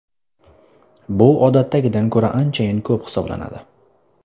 Bu odatdagidan ko‘ra anchayin ko‘p hisoblanadi.